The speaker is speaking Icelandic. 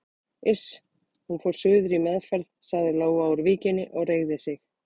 Iss, hún fór suður í meðferð sagði Lóa úr Víkinni og reigði sig.